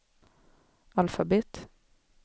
alfabet